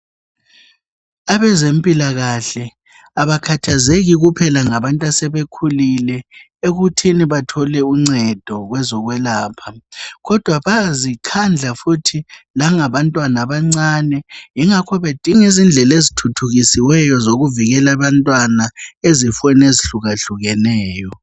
Abezempilakahle abakhathazeki kuphela ngasebekhulile ekuthini bathole uncedo kwezokwelapha, kodwa bayazikhandla futhi ngabantwana abancane yingakho bedinga indlela ezithuthukisiweyo zokuvikela abantwana ezifeni izihlukahlukeneyo.